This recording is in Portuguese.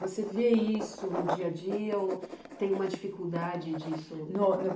Você vê isso no dia a dia ou tem uma dificuldade disso? No, no